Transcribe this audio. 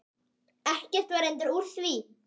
Ekkert var reyndar úr því.